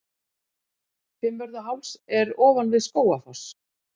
Fimmvörðuháls er ofan við Skógafoss.